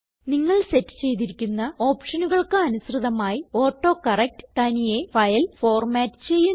നിങ്ങൾ സെറ്റ് ചെയ്തിരിക്കുന്ന ഓപ്ഷനുകൾക്ക് അനുസൃതമായി ഓട്ടോകറക്ട് തനിയെ ഫയൽ ഫോർമാറ്റ് ചെയ്യുന്നു